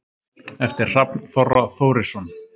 eftir hrafn þorra þórisson